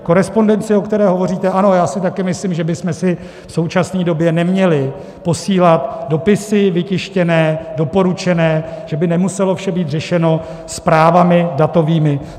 Korespondence, o které hovoříte - ano, já si taky myslím, že bychom si v současné době neměli posílat dopisy vytištěné, doporučené, že by nemuselo vše být řešeno zprávami datovými.